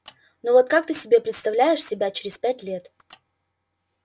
ну а ты вот как себе представляешь себя через пять лет